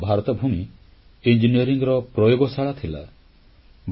ଆମ ଦେଶ ଭାରତଭୂମି ସ୍ଥାପତ୍ୟ ଓ ଇଞ୍ଜିନିୟରିଂର ପ୍ରୟୋଗଶାଳା ଥିଲା